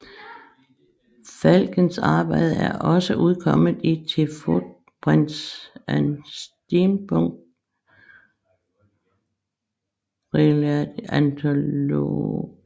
Falksens arbejder er også udkommet i The Footprints and Steampunk Reloaded anthologies